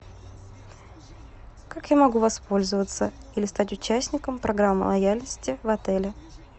как я могу воспользоваться или стать участником программы лояльности в отеле